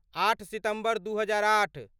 आठ सितम्बर दू हजारआठ